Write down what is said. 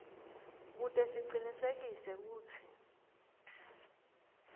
kute sicinisekise kutsi